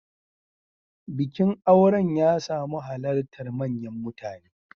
Bikin auren ya samu halartar manyan mutane.